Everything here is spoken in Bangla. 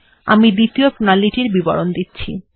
আমি এখন দ্বিতীয় প্রণালী টির বিবরণ দিচ্ছি